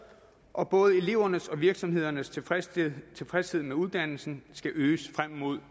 og både elevernes og virksomhedernes tilfredshed tilfredshed med uddannelsen skal øges frem mod